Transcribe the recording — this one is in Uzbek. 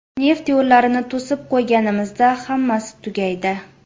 Neft yo‘llarini to‘sib qo‘yganimizda hammasi tugaydi.